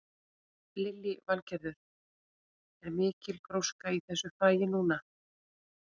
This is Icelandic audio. Lillý Valgerður: Er mikil gróska í þessu fagi núna?